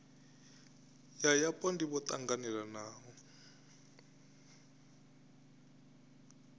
ya yapo ndivho yo tanganelaho